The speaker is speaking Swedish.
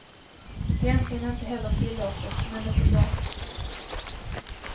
Det är egentligen inte heller tillåtet, men det får gå.